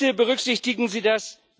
Bitte berücksichtigen Sie das.